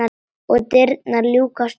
Og dyrnar ljúkast upp.